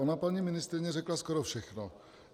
Ona paní ministryně řekla skoro všechno.